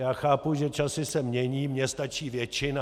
Já chápu, že časy se mění, mně stačí většina.